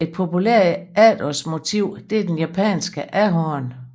Et populært efterårsmotiv er den japanske ahorn